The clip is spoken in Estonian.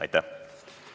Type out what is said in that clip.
Aitäh, Hanno Pevkur!